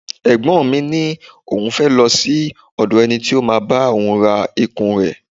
Ẹ̀gbọ́n mi ní òun fẹ́ lọ sí òdò ẹni tí ó máa bá òun ra ikùn rẹ̀.